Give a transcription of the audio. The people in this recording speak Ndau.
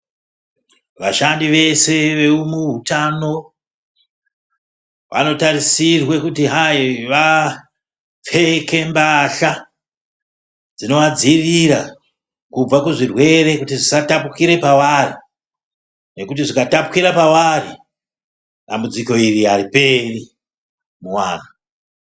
Vashandi vese vemuhutano vanotarisirwe kuti hai vapfeke mbahla dzinovadzivirira kubva kuzvirwere kuti zvisatapukire pavari nekuti zvikatapukira pavari dambudziko iri hariperi muvantu.